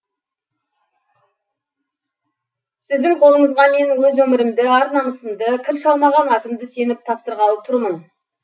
сіздің қолыңызға мен өз өмірімді ар намысымды кір шалмаған атымды сеніп тапсырғалы турмын